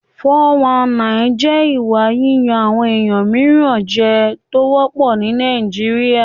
419 jẹ́ ìwà yíyan àwọn ènìyàn mìíràn jẹ tó wọ́pọ̀ ní Nàìjíríà.